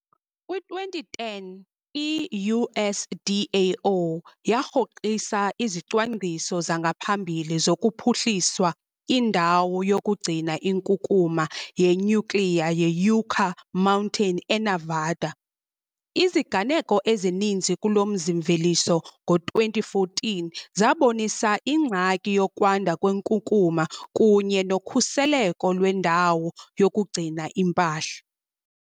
Kwi-2010, i -USDAO yarhoxisa izicwangciso zangaphambili zokuphuhliswa indawo yokugcina inkunkuma yenyukliya yeYucca Mountain eNevada. Iziganeko ezininzi kulo mzi-mveliso ngo-2014 zabonisa ingxaki yokwanda kwenkukuma kunye nokhuseleko lwendawo yokugcina impahla.